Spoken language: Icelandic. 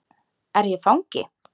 Er ég fangi?